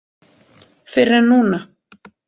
Fyrr en núna.